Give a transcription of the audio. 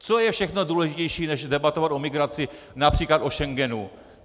Co je všechno důležitější než debatovat o migraci, například o Schengenu?